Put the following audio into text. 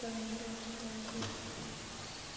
там ещё вот это вот есть